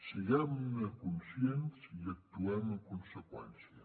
siguem ne conscients i actuem en conseqüència